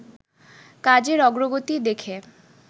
কাজের অগ্রগতি দেখে